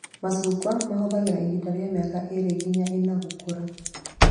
Macungwa mahũthagĩra ihinda rĩa mĩaka ĩrĩ nginya ĩna gũkũra